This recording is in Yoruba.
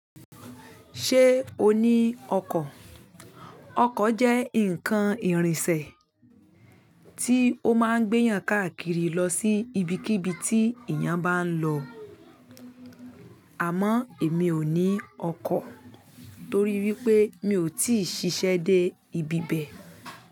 Ṣé o ní ọkọ? Ọkọ jẹ́ nǹkan ìrìnsẹ̀ tí ó máa ń gbé èèyàn káàkiri lọ sí ibikíbi tí èèyàn bá ń lọ. Àmọ́, èmi ò ní ọkọ torí wípé mi ò tíì ṣiṣẹ́ dé ibibẹ̀.